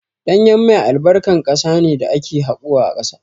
Ɗanyen mai albarkan ƙasa ne da ake haƙowa a ƙasa.